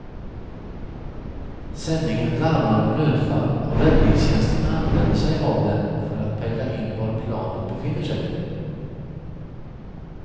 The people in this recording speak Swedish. Sändningen larmar om nödfall och räddningstjänsten använder sig av den för att pejla in var planet befinner sig.